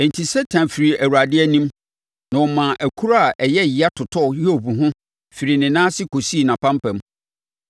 Enti, Satan firii Awurade anim, na ɔmaa akuro a ɛyɛ yea totɔɔ Hiob ho firi ne nan ase kɔsii nʼapampam.